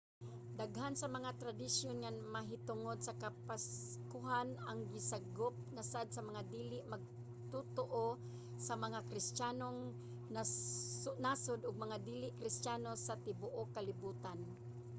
daghan sa mga tradisyon nga mahitungod sa kapaskuhan ang gisagop na sad sa mga dili magtotoo sa mga kristiyanong nasud ug mga dili kristiyano sa tibuok kalibutan